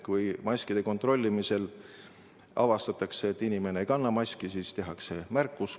Kui maskide kontrollimisel avastatakse, et inimene ei kanna maski, siis tehakse märkus.